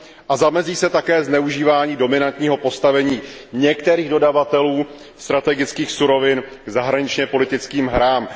a zamezí se také zneužívání dominantního postavení některých dodavatelů strategických surovin k zahraničně politickým hrám.